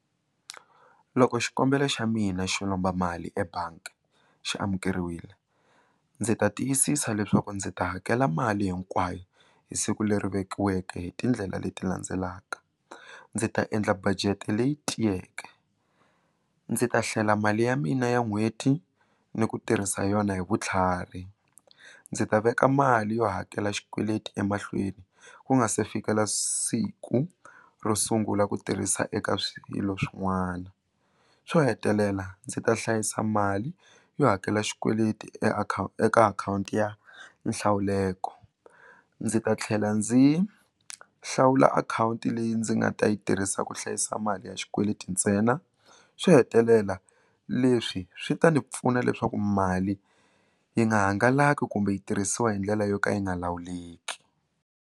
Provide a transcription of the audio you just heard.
Loko xikombelo xa mina xo lomba mali ebangi xi amukeriwile ndzi ta tiyisisa leswaku ndzi ta hakela mali hinkwayo hi siku leri vekiweke hi tindlela leti landzelaka ndzi ta endla budget leyi tiyeke ndzi ta hlela mali ya mina ya n'hweti ni ku tirhisa yona hi vutlhari ndzi ta veka mali yo hakela xikweleti emahlweni ku nga se fikela siku ro sungula ku tirhisa eka swilo swin'wana xo hetelela ndzi ta hlayisa mali yo hakela xikweleti eka akhawunti ya nhlawuleko ndzi ta tlhela ndzi hlawula akhawunti leyi ndzi nga ta yi tirhisa ku hlayisa mali ya xikweleti ntsena swo hetelela leswi swi ta ni pfuna leswaku mali yi nga hangalaki kumbe yi tirhisiwa hi ndlela yo ka yi nga lawuleki.